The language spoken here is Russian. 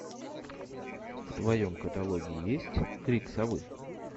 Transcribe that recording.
в твоем каталоге есть крик совы